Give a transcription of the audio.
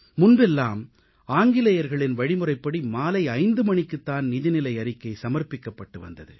முன்பெல்லாம் ஆங்கிலேயர்களின் வழிமுறைப்படி மாலை 5 மணிக்குத் தான் நிதிநிலை அறிக்கை சமர்ப்பிக்கப்பட்டு வந்தது